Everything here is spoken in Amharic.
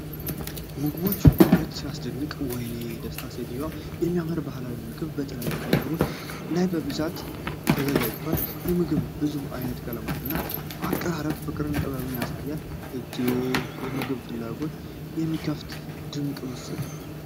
የምግቦቹ ውበት ሲያስደንቅ! ወይኔ ደስታ! ሴትየዋ የሚያምር ባህላዊ ምግብ በትላልቅ መሶቦች ላይ በብቃት ታዘጋጃለች። የምግቡ ብዙ ዓይነት ቀለማት እና አቀራረብ ፍቅርንና ጥበብን ያሳያል። እግዚኦ! የምግብ ፍላጎትን የሚከፍት ድንቅ ምስል!